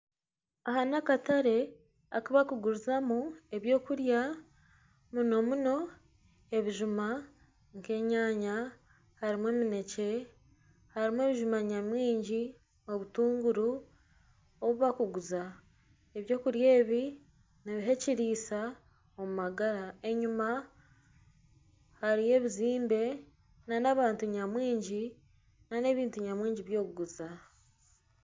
Aha n'akatare aku barikugurizamu ebyokurya munomuno ebijuma harimu eminekye harimu ebijuma nyamwingi obutunguru obu bakuguza eby'okurya ebi nibiha ekiriisa omu magara enyima hariyo ebizimbe nana abantu nyamwingi nana ebintu nyamwingi by'okuguza